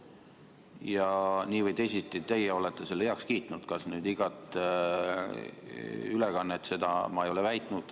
Ja nii või teisiti olete teie selle heaks kiitnud – kas nüüd iga ülekande, seda ma ei ole väitnud.